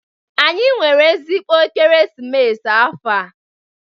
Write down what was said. Anyị nwere ezigbo ekeresimesi afọ a.